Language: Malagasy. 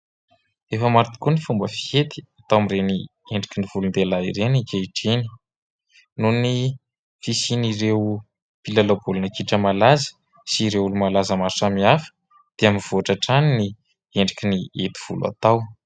Efa maro tokoa ny fomba fiety atao amin'ireny endriky ny volon-dehilahy ireny ankehitriny. Noho ny fisian'ireo mpilalao baolina kitra malaza sy ireo olo-malaza maro samihafa dia mivoatra hatrany ny endriky ny hetivolo atao.